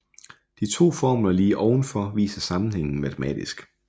De to formler lige oven for viser sammenhængen matematisk